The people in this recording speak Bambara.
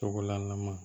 Tɔgɔla na